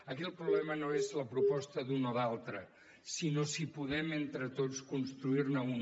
aquí el problema no és la proposta d’un o d’altre sinó si podem entre tots construir ne una